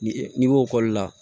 Ni n'i ko ekɔli la